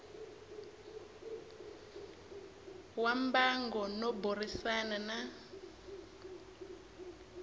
wa mbango no burisana na